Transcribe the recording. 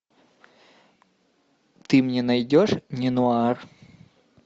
ты мне найдешь неонуар